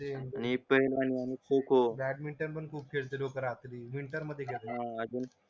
badminton पण खेळते लोक रात्री विंटर मदे हा अजून